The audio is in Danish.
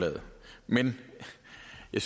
det